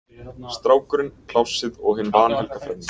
Strákurinn, Plássið og hin vanhelga þrenning